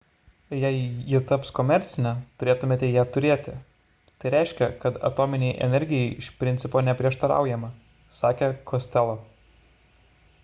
jei ji taps komercinė turėtume ją turėti tai reiškia kad atominei energijai iš principo neprieštaraujama – sakė costello